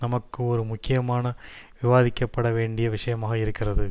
நமக்கு ஒரு முக்கியமான விவாதிக்கப்பட வேண்டிய விஷயமாக இருக்கிறது